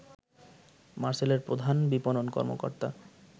মারসেলের প্রধান বিপণন কর্মকর্তা